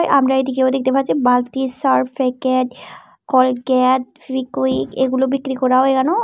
আমরা এদিকেও দেখতে পাচ্ছি বালতি সার্ভ প্যাকেট কোলগেট লিকুইড এগুলো বিক্রি করা হয় ।